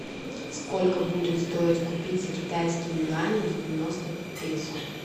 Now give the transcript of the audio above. сколько будет стоить купить за китайские юани девяносто песо